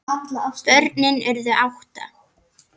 Börnin urðu átta.